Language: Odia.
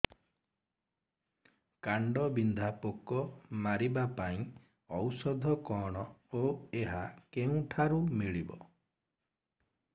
କାଣ୍ଡବିନ୍ଧା ପୋକ ମାରିବା ପାଇଁ ଔଷଧ କଣ ଓ ଏହା କେଉଁଠାରୁ ମିଳିବ